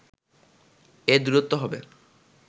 এর দূরত্ব হবে